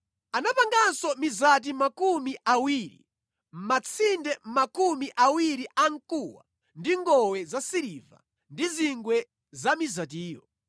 Anapanganso mizati makumi awiri, matsinde makumi awiri amkuwa ndi ngowe zasiliva ndi zingwe za mizatiyo.